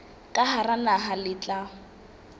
ka hara naha le tla